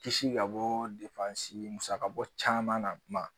Kisi ka bɔ musakabɔ caman na kuma